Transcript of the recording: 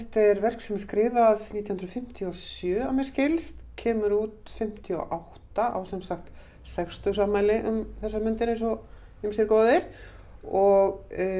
er verk sem er skrifað nítján hundruð fimmtíu og sjö að mér skilst kemur út fimmtíu og átta á sem sagt sextugsafmæli um þessar mundir eins og ýmsir góðir og